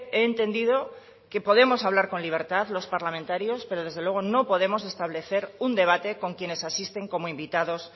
he entendido que podemos hablar con libertad los parlamentarios pero desde luego no podemos establecer un debate con quienes asisten como invitados